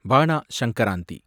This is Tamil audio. பானா சங்கராந்தி